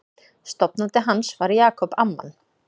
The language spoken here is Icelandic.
Stofnandi hans var Jacob Amman.